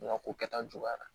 N ka ko kɛta juguyara